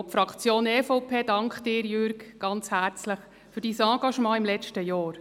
Die Fraktion EVP dankt Ihnen, Jürg Iseli, ganz herzlich für Ihr Engagement während des letzten Jahres.